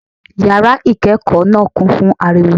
Yàrá ìkékòó náà kún fún ariwo